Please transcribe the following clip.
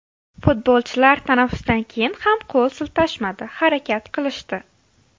Futbolchilar tanaffusdan keyin ham qo‘l siltashmadi, harakat qilishdi.